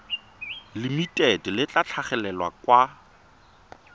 limited le tla tlhagelela kwa